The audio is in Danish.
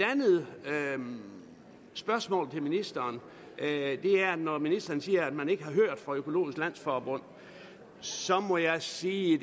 andet spørgsmål til ministeren når ministeren siger at man ikke har hørt fra økologisk landsforbund så må jeg sige